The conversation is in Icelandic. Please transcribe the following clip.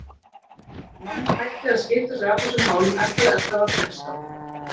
Mamma hætti að skipta sér af þessum málum eftir að Edda varð sextán.